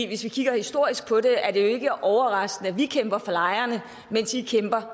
hvis vi ser historisk på det er det jo ikke overraskende at vi kæmper for lejerne mens i kæmper